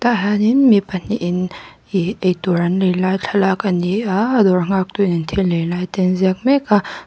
tah hianin mi pahnih in ih eitur an lei lai thlalak ani a a dawr nghak tu in thil lei te a ziak mek a.